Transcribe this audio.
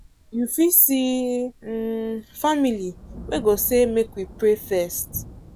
you fit see um family wey go say make we pray first.